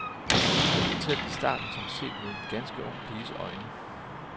Den fortælles i starten som set med en ganske ung piges øjne.